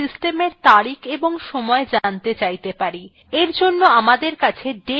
আমরা system we তারিখ এবং সময় জানতে চাইতে পারি we জন্য আমাদের কাছে date command আছে